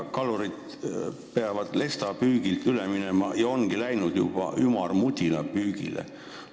Kalurid peavad lestapüügilt üle minema – ja ongi juba läinud – ümarmudila püügile.